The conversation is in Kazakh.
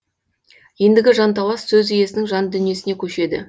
ендігі жанталас сөз иесінің жан дүниесіне көшеді